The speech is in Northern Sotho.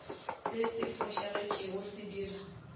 se se fošagetšego se dira